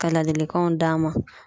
Ka ladilikanw d'a ma.